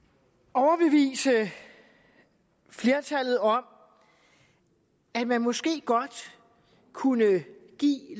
overbevise flertallet om at man måske godt kunne give